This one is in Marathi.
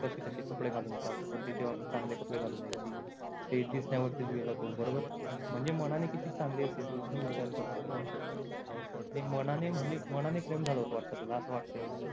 कपडे घालून येतात पण तेव्हा ती चांगले कपडे घालून यायची ते दिसणाऱ्यवर च गेला तो बरोबर म्हणजे मानाने किती चांगली असेल विचार म्हणजे मानाने प्रेम झालं होत वाट असं वाटय मला